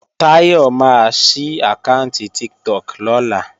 Táyọ̀ máa sí àkáànti Tiktok lọ́la